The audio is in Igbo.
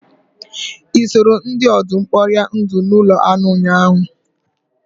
Ị soro ndị ọdụm kporie ndụ n'ụlọ anụ ụnyahụ?